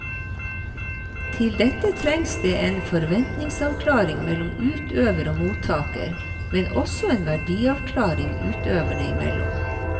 Til dette trengs det en forventningsavklaring mellom utøver og mottaker, men også en verdiavklaring utøverne imellom.